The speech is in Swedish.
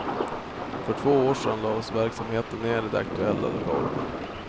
För två år sedan lades verksamheten ned i de aktuella lokalerna.